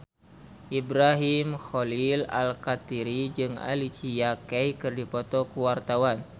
Ibrahim Khalil Alkatiri jeung Alicia Keys keur dipoto ku wartawan